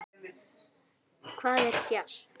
Hvað er djass?